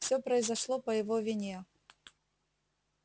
всё произошло по его вине